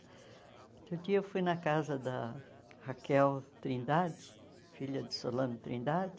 Outro dia eu fui na casa da Raquel Trindade, filha de Solano Trindade,